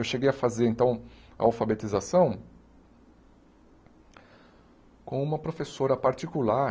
Eu cheguei a fazer, então, alfabetização com uma professora particular